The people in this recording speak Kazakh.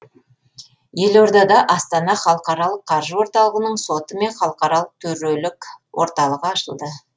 елордада астана халықаралық қаржы орталығының соты мен халықаралық төрелік орталығы ашылды